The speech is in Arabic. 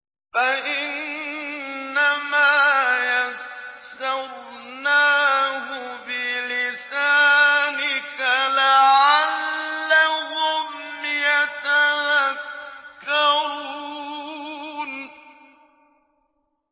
فَإِنَّمَا يَسَّرْنَاهُ بِلِسَانِكَ لَعَلَّهُمْ يَتَذَكَّرُونَ